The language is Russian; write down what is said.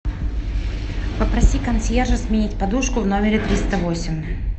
попроси консьержа сменить подушку в номере триста восемь